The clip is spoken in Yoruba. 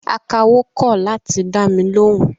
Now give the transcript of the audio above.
Akawó kọ̀ láti dámi lóhùn